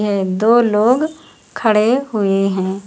है दो लोग खड़े हुए हैं।